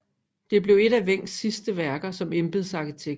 Det blev et af Wencks sidste værker som embedsarkitekt